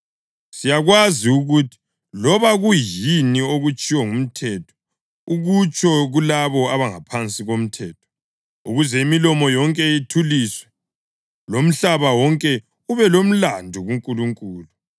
Siyakwazi ukuthi loba kuyini okutshiwo ngumthetho, ukutsho kulabo abangaphansi komthetho, ukuze imilomo yonke ithuliswe lomhlaba wonke ube lomlandu kuNkulunkulu.